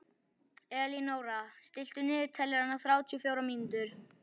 Elínóra, stilltu niðurteljara á þrjátíu og fjórar mínútur.